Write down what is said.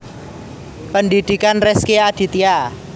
Pendhidhikan Rezky Aditya